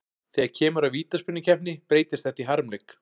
Þegar kemur að vítaspyrnukeppni breytist þetta í harmleik.